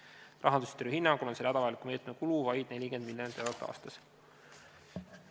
Juhime tähelepanu, et Rahandusministri hinnangul on selle hädavajaliku meetme kulu vaid 40 miljonit eurot aastas.